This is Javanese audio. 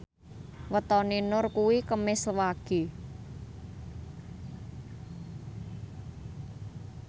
wetone Nur kuwi Kemis Wage